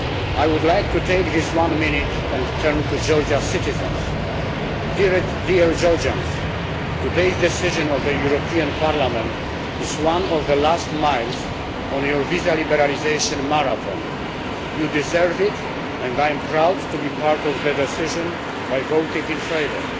I would like to take this one minute and turn to Georgia's citizens. Dear Georgians, today's decision of the European Parliament is one of the last miles in your visa liberalisation marathon. You deserve it, and I am proud to be part of the decision by voting in favour.